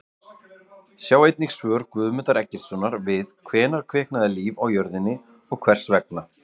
Sjá einnig svör Guðmundar Eggertssonar við Hvenær kviknaði líf á jörðinni og hvers vegna?